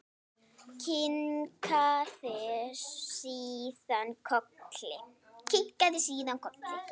Kinkaði síðan kolli.